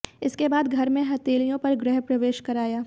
इसके बाद घर में हथेलियों पर गृह प्रवेश कराया